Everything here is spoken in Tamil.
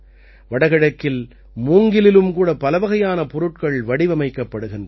வடகிழக்கில் மூங்கிலிலும் கூட பலவகையான பொருட்கள் வடிவமைக்கப்படுகின்றன